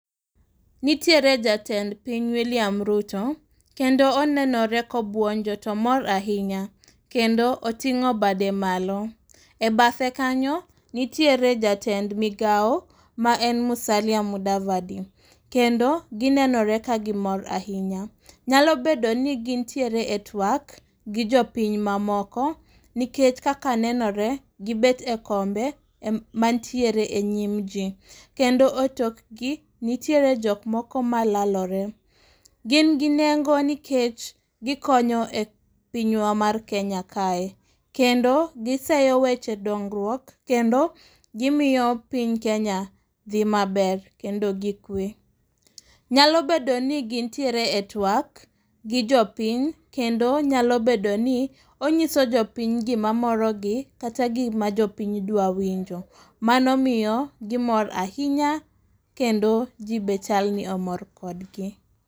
Nitiere jatend piny William Ruto, kendo onenore kobuonjo to mor ahinya, kendo oting'o bade malo. E bathe kanyo, nitiere jatend migao ma en Musalia Mudavadi, kendo ginenore ka gimor ahinya. Nyalo bedo ni gintiere e twak, gi jopiny mamoko, nikech kaka nenore gibet e kombe e manitiere e nyim ji, kendo e tokgi nitiere jok moko malalore. Gin ginengo nikech gikonyo e pinywa mar Kenya kae, kendo giseyo weche dongruok, kendo gimiyoo piny Kenya dhi maber, kendo gikwe. Nyalo bedo ni gintiere e twak, gi jopiny, kendo nyalo bedo ni onyiso jopiny gimamorogi kata gima jopiny dwa winjo, mano miyogi mor ahinya, kendo ji be chalni omor kodgi.